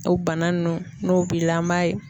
O bana nunnu n'o b'i la an m'a ye